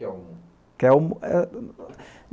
Kelm? Kelm eh eh